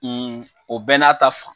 o bɛɛ n'a ta fan.